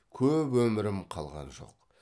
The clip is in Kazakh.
көп өмірім қалған жоқ